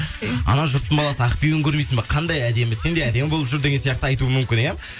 ана жұрттың баласы ақбибіні көрмейсің ба қандай әдемі сен де әдемі болып жүр деген сияқты айтуы мүмкін иә